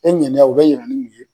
E n kaninya o bɛ yira nu ye.